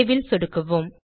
Saveல் சொடுக்குவோம்